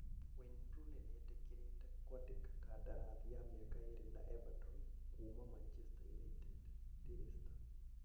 Wayne Rooney nĩetĩkĩrĩte kwandĩka kandarathi ya mĩaka ĩĩrĩ na Everton kuuma Manchester United (Daily Star).